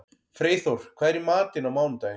Freyþór, hvað er í matinn á mánudaginn?